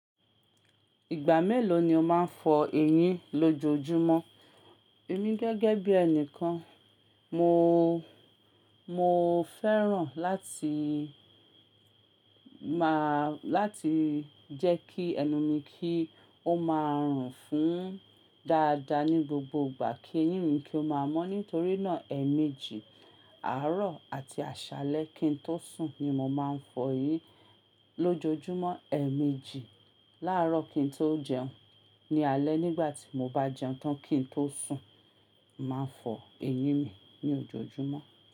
Ìgbà mélòó ni o máa ń fọ eyín lójoojúmọ́? Èmi gẹ́gẹ́ bí ẹni kan, moo o, moo o fẹ́ràn láti máa, láti jẹ́ kí ẹnu mi kí ó máa rùn fún dáadáa ní gbogbo ìgbà, kí eyín mi kí ó máa mọ́. Nítorí náà, ẹ̀ẹ̀mejì, àárọ̀ àti àṣálẹ́ kí n tó sùn ni mo máa ń fọ eyín lójoojúmọ́. Ẹ̀ẹ̀mejì, láàárọ̀ kí n tó jẹun, ní alẹ́ nígbà tí mo bá jẹun tán kí n tó sùn, mo maa n fọ eyín mi ní ojoojúmọ́